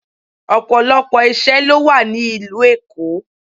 Ọ̀pọ̀lọpọ̀ ìṣe ló wà ní ìlú Èkó.